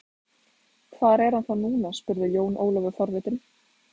Hvar er hann þá núna spurði Jón Ólafur forvitinn.